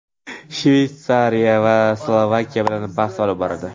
Shvetsiya esa Slovakiya bilan bahs olib boradi.